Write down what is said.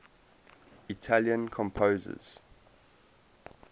italian composers